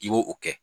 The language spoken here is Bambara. I b'o o kɛ